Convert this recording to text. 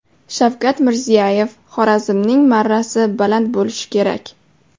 Shavkat Mirziyoyev: Xorazmning marrasi baland bo‘lishi kerak.